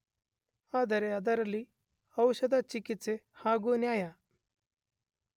ಆದರೆ ಅದರಲ್ಲಿ ಔಷಧ ಚಿಕಿತ್ಸೆ ಹಾಗೂ ನ್ಯಾಯ